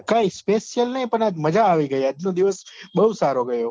કાઈ special નહિ પણ આજ મજા આવી ગઈ આજ નો દિવસ બહુ સારો ગયો